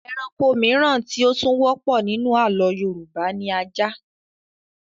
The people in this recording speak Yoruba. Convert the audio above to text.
Ẹranko mìíràn tí ó tún wọ́pọ̀ nínú àlọ́ Yorùbá ni ajá